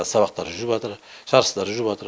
сабақтар жүрватыр жарыстар жүрватыр